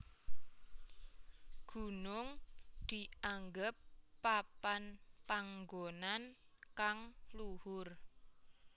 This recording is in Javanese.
Gunung dianggep papan panggonan kang luhur